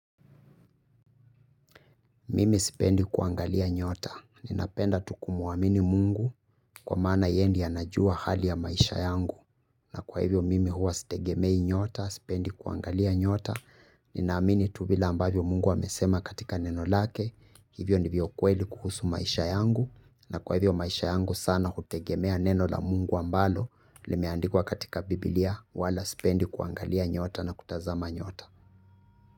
Mimi sipendi kuangalia nyota, ninapenda tu kumwamini mungu kwa maana yeye ndiye anajua hali ya maisha yangu. Na kwa hivyo mimi huwa sitegemei nyota, sipendi kuangalia nyota, ninaamini tu vile ambavyo mungu amesema katika neno lake. Hivyo ndivyo kweli kuhusu maisha yangu, na kwa hivyo maisha yangu sana hutegemea neno la mungu ambalo limeandikwa katika biblia wala sipendi kuangalia nyota na kutazama nyota.